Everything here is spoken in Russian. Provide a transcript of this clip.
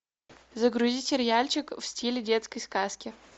загрузи сериальчик в стиле детской сказки